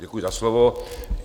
Děkuji za slovo.